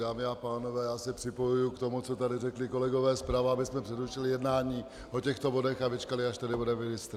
Dámy a pánové, já se připojuji k tomu, co tady řekli kolegové zprava, abychom přerušili jednání o těchto bodech a vyčkali, až tady bude ministr.